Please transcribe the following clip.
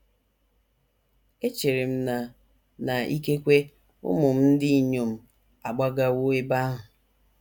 Echere m na na ikekwe ụmụ m ndị inyom agbagawo ebe ahụ.